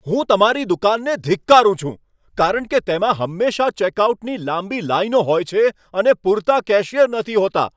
હું તમારી દુકાનને ધિક્કારું છું કારણ કે તેમાં હંમેશા ચેકઆઉટની લાંબી લાઈનો હોય છે અને પૂરતા કેશિયર નથી હોતા.